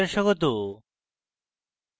meet the gimp এ আপনাদের স্বাগত